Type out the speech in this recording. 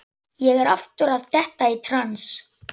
Ég er aftur að detta í trans.